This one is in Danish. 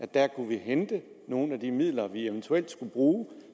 dér kunne hente nogle af de midler som vi eventuelt skulle bruge